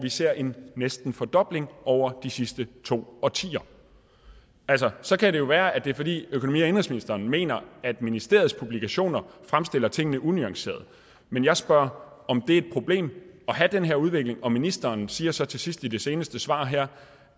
ser en næsten fordobling over de sidste to årtier så kan det jo være at det er fordi økonomi og indenrigsministeren mener at ministeriets publikationer fremstiller tingene unuanceret men jeg spørger om det er et problem at have den her udvikling og ministeren siger så til sidst i det seneste svar her